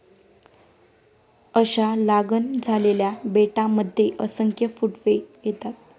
अशा लागण झालेल्या बेटांमध्ये असंख्य फुटवे येतात.